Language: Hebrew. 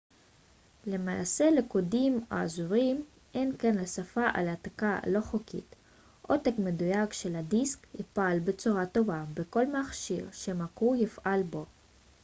למעשה לקודים האזוריים אין כל השפעה על העתקה לא חוקית עותק מדויק של הדיסק יפעל בצורה טובה בכל מכשיר שהמקור יפעל בו